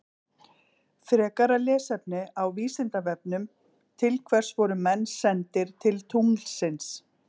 Frekara lesefni á Vísindavefnum Til hvers voru menn sendir til tunglsins?